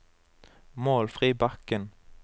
Målfrid Bakken